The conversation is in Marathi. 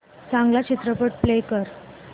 चांगला चित्रपट प्ले कर